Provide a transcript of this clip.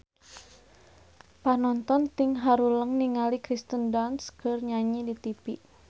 Panonton ting haruleng ningali Kirsten Dunst keur nyanyi di tipi